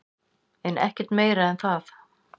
En ekkert meira en það.